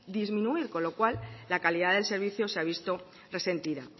disminuir con lo cual la calidad del servicio se ha visto resentida